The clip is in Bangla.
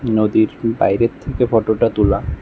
নদীর বাইরের থেকে ফটোটা তুলা।